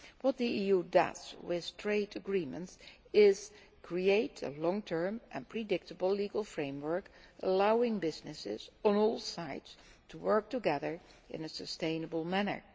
What the EU does with trade agreements is create a long term and predictable legal framework, allowing businesses on all sides to work together in a sustainable manner.